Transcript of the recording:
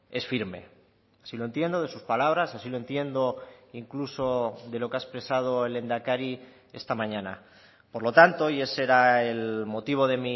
es firme si lo entiendo de sus palabras así lo entiendo incluso de lo que ha expresado el lehendakari esta mañana por lo tanto y ese era el motivo de